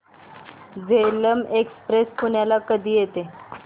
Jhelum express पुण्याला कधी येते